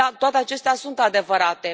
Da, toate acestea sunt adevărate.